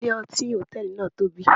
Ilé-ọtí hòtẹ́ẹ̀lì náà tóbi